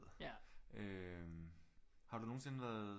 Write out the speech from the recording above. Øh har du nogensinde været